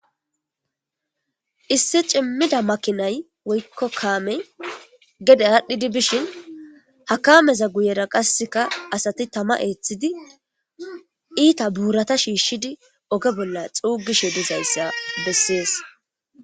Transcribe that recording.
Issi cimmida kammey gedde adhdhidi bishshin ha kaameza guyera qasseka asati tamma eththidi iitta buratta shishidi ogge bolla xuugishe dizayssa besses.